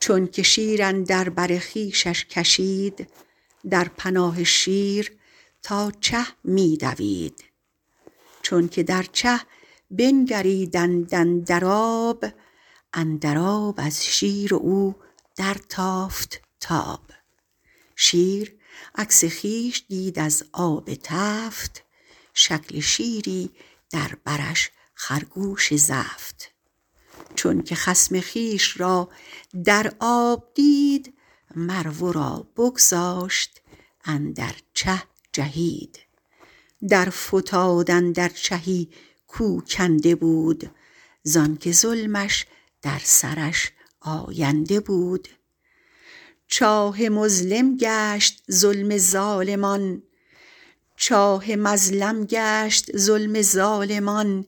چونک شیر اندر بر خویشش کشید در پناه شیر تا چه می دوید چونک در چه بنگریدند اندر آب اندر آب از شیر و او در تافت تاب شیر عکس خویش دید از آب تفت شکل شیری در برش خرگوش زفت چونک خصم خویش را در آب دید مر ورا بگذاشت و اندر چه جهید در فتاد اندر چهی کو کنده بود زانک ظلمش در سرش آینده بود چاه مظلم گشت ظلم ظالمان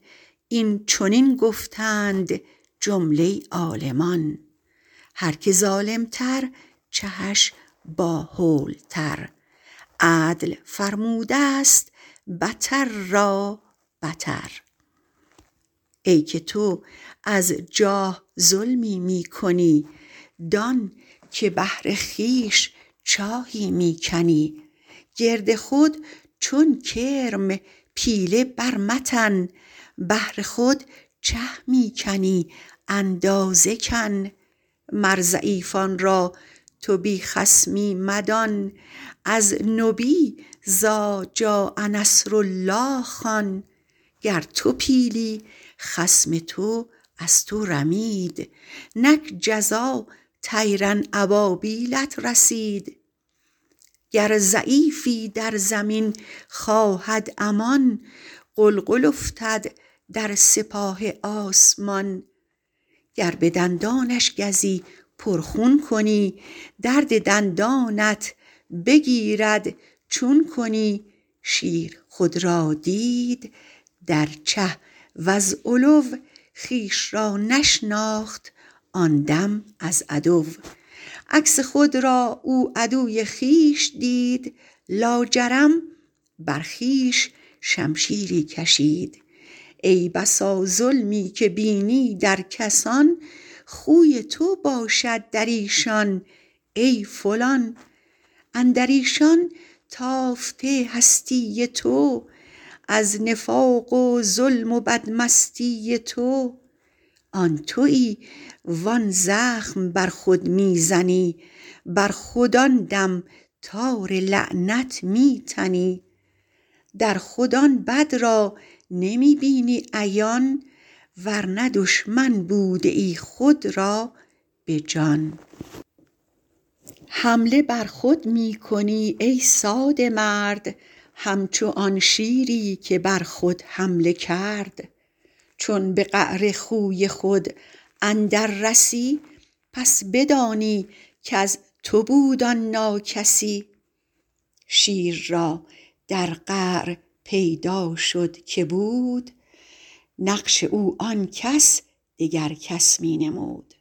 این چنین گفتند جمله عالمان هر که ظالم تر چهش با هول تر عدل فرمودست بتر را بتر ای که تو از جاه ظلمی می کنی دانک بهر خویش چاهی می کنی گرد خود چون کرم پیله بر متن بهر خود چه می کنی اندازه کن مر ضعیفان را تو بی خصمی مدان از نبی إذجاء نصر الله خوان گر تو پیلی خصم تو از تو رمید نک جزا طیرا أبابیلت رسید گر ضعیفی در زمین خواهد امان غلغل افتد در سپاه آسمان گر بدندانش گزی پر خون کنی درد دندانت بگیرد چون کنی شیر خود را دید در چه وز غلو خویش را نشناخت آن دم از عدو عکس خود را او عدو خویش دید لاجرم بر خویش شمشیری کشید ای بسا ظلمی که بینی در کسان خوی تو باشد دریشان ای فلان اندریشان تافته هستی تو از نفاق و ظلم و بد مستی تو آن توی و آن زخم بر خود می زنی بر خود آن دم تار لعنت می تنی در خود آن بد را نمی بینی عیان ورنه دشمن بودیی خود را بجان حمله بر خود می کنی ای ساده مرد همچو آن شیری که بر خود حمله کرد چون به قعر خوی خود اندر رسی پس بدانی کز تو بود آن ناکسی شیر را در قعر پیدا شد که بود نقش او آنکش دگر کس می نمود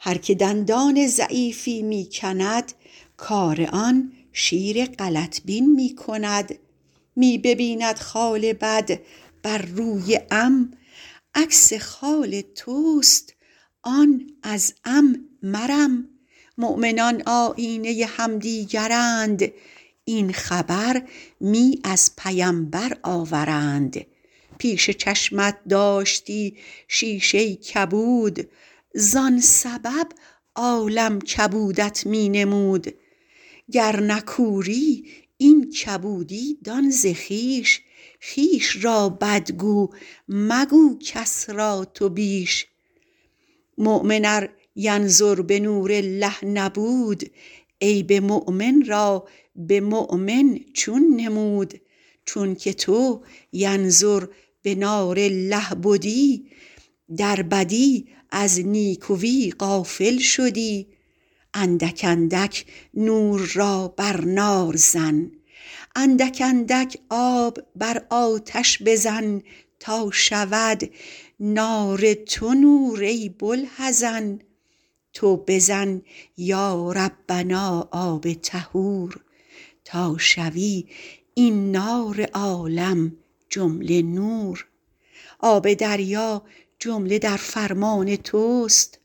هر که دندان ضعیفی می کند کار آن شیر غلط بین می کند می ببیند خال بد بر روی عم عکس خال تست آن از عم مرم مؤمنان آیینه همدیگرند این خبر می از پیمبر آورند پیش چشمت داشتی شیشه کبود زان سبب عالم کبودت می نمود گر نه کوری این کبودی دان ز خویش خویش را بد گو مگو کس را تو بیش مؤمن ار ینظر بنور الله نبود غیب مؤمن را برهنه چون نمود چون که تو ینظر بنار الله بدی در بدی از نیکوی غافل شدی اندک اندک آب بر آتش بزن تا شود نار تو نور ای بوالحزن تو بزن یا ربنا آب طهور تا شود این نار عالم جمله نور آب دریا جمله در فرمان تست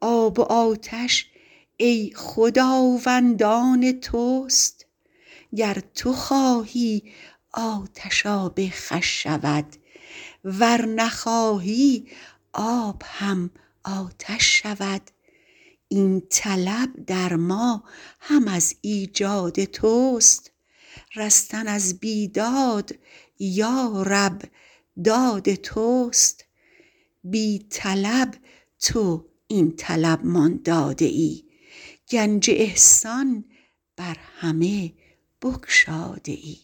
آب و آتش ای خداوند آن تست گر تو خواهی آتش آب خوش شود ور نخواهی آب هم آتش شود این طلب در ما هم از ایجاد تست رستن از بیداد یا رب داد تست بی طلب تو این طلب مان داده ای گنج احسان بر همه بگشاده ای